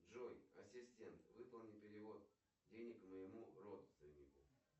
джой ассистент выполни перевод денег моему родственнику